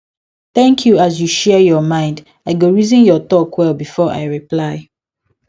thank you as you share your mind i go reason your talk well before i reply